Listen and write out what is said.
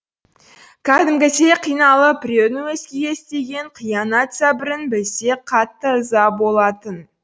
кәдімгідей қиналып біреудің өзгеге істеген қиянат зәбірін білсе қатты ыза болатын